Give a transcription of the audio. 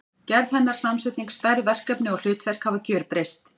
Gerð hennar, samsetning, stærð, verkefni og hlutverk hafa gjörbreyst.